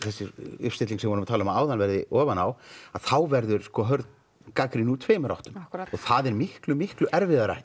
uppstilling sem við vorum að tala um áðan verði ofan á þá verður hörð gagnrýni úr tveimur áttum það er miklu miklu erfiðara í